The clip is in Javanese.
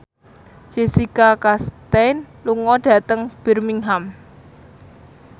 Jessica Chastain lunga dhateng Birmingham